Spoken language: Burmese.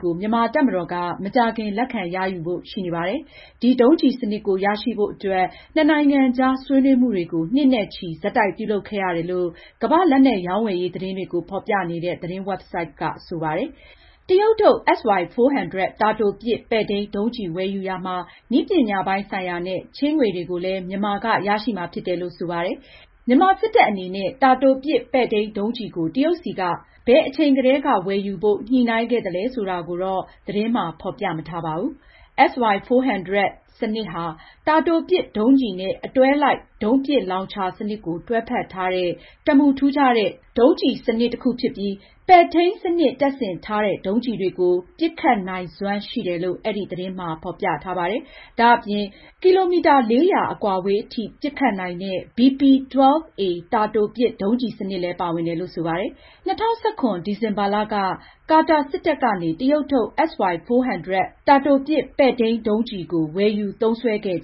ကို မြန်မာတပ်မတော်က မကြာခင် လက်ခံရယူဖို့ရှိနေပါတယ်။ဒီဒုံးကျည်စနစ်ကို ရရှိဖို့အတွက် နှစ်နိုင်ငံကြား ဆွေးနွေးမှုတွေ နှစ်နဲ့ချီပြီး ဆက်တိုက်ပြုလုပ်ခဲ့ရတယ်လို့ ကမ္ဘာ့လက်နက်ရောင်းဝယ်ရေးသတင်းတွေကို ဖေါ်ပြနေတဲ့ သတင်းဝက်ဘ်ဆိုဒ်မှာ ဖေါ်ပြထားပါတယ်။ တရုတ်ထုတ် SY-400 တာတိုပစ် ပဲ့ထိန်းဒုံးကျည်ဝယ်ယူရာမှာ နည်းပညာပိုင်းဆိုင်ရာနဲ့ ချေးငွေကိုလည်း မြန်မာက ရရှိမှာ ဖြစ်တယ်လို့ ဆိုပါတယ်။ မြန်မာစစ်တပ်အနေနဲ့ တာတိုပစ် ပဲ့ထိန်းဒုံးကျည်ကို တရုတ်ဆီက ဘယ်အချိန်ကတည်းက ဝယ်ယူဖို့ ညှိုနှိုင်းခဲ့သလဲဆိုတာကတော့ သတင်းမှာ ဖေါ်ပြမထားပါဘူး။ SY-400 စနစ်ဟာ တာတိုပစ်ဒုံးကျည်နဲ့ အတွဲလိုက်ဒုံးပစ်လောင်ချာစနစ်ကို တွဲဖက်ထားတဲ့ တစ်မူထူးခြားတဲ့ ဒုံးကျည်စနစ်တစ်ခုဖြစ်ပြီး၊ ပဲ့ထိန်းစနစ်တပ်ဆင်ထားတဲ့ ဒုံးကျည်တွေကို ပစ်ခတ်နိုင်စွမ်း ရှိတယ်လို့ အဲဒီ သတင်းမှာ ဖေါ်ပြထားပါတယ်။ ဒါ့အပြင်(၄၀၀)ကီလိုမီတာ အကွာအဝေးအထိ ပစ်ခတ်နိုင်တဲ့ BP-12A တာတိုပစ်ဒုံးကျည်စနစ်လည်း ပါဝင်တယ်လို့ ဆိုပါတယ်။ ၂၀၁၇ခုနှစ် ဒီဇင်ဘာလက ကာတာ စစ်တပ်ကနေ တရုတ်ထုတ် SY-400 တာတိုပစ် ပဲ့ထိန်းဒုံးကျည်ကို ဝယ်ယူသုံးစွဲခဲ့